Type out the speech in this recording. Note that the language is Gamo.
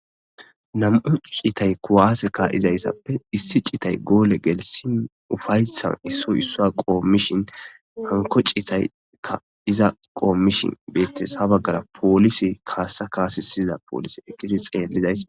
nam7u citay kuwaase ka7izayssappe issi citay goole gelisin ufayshan issoy issua qoommishin hanko citayka iza qoommishin beettes ha baggara poolise kaassa kaase syiyza poolise ekisi xeellizays